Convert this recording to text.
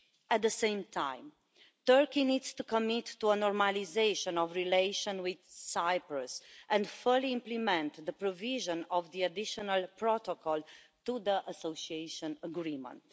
At the same time, Turkey needs to commit to a normalisation of relations with Cyprus and fully implement the provisions of the Additional Protocol to the Association Agreement.